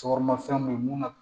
Cɔkɔrɔba fɛnw be ye mun na